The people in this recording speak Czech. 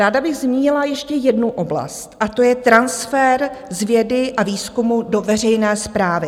Ráda bych zmínila ještě jednu oblast a to je transfer z vědy a výzkumu do veřejné správy.